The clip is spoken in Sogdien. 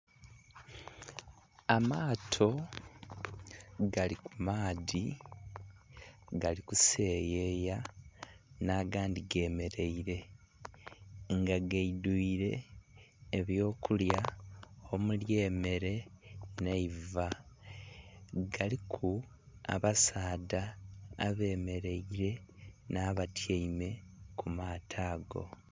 Amaato gali ku maadhi gali kuseyeya nh'agandhi gemeleile. Nga gaidhwile eby'okulya omuli emele nh'eiva. Galiku abasaadha abemeleile nh'abatyaime ku maato ago.